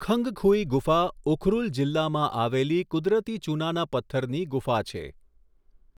ખંગખુઈ ગુફા ઉખરૂલ જિલ્લામાં આવેલી કુદરતી ચૂનાના પથ્થરની ગુફા છે.